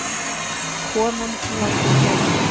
Konan látin laus